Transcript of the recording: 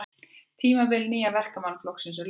Tímabili Nýja Verkamannaflokksins er lokið